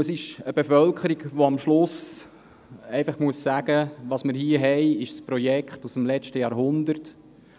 Es ist eine Bevölkerung, die am Ende sagen muss, dass das, was wir hier haben, ein Projekt aus dem letzten Jahrhundert ist,